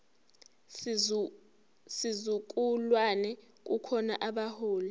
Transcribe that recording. sizukulwane kukhona abaholi